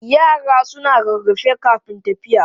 Yara suna rarrafe kafin tafiya.